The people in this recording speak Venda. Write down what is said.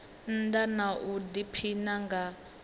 nnda na u diphina nga